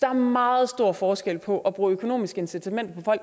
er meget stor forskel på at bruge økonomisk incitamenter